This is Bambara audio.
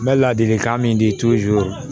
N bɛ ladilikan min di